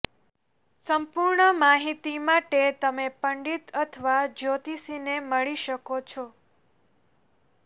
સંપૂર્ણ માહિતી માટે તમે પંડિત અથવા જ્યોતિષીને મળી શકો છો